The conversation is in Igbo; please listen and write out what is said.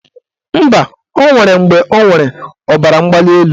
Mba, o nwere mgbe ọ nwere ọbaramgbalịelu.